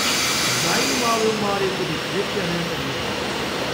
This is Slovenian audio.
Zdaj ima v omari tudi klekljane rjuhe.